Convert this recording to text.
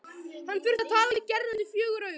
Hann þurfti að tala við Gerði undir fjögur augu.